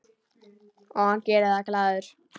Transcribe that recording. Og hann gerir það glaður.